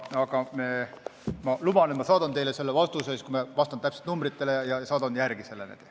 Aga ma luban, et ma saadan teile selle vastuse, ma vastan täpsete numbritega ja saadan teile selle.